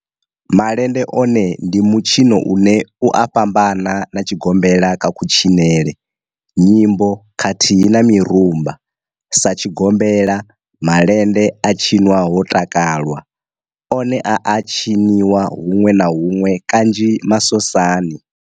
Malende one ndi mitshino une u a fhambana na tshigombela kha kutshinele, nyimbo khathihi na mirumba. Sa tshigombela, malende a tshinwa ho takalwa, one a a tshiniwa hunwe na hunwe kanzhi masosani.